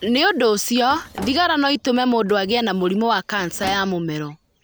Nĩ ũndũ ũcio, thigara no itũme mũndũ agĩe na mũrimũ wa kanca ya mũmero.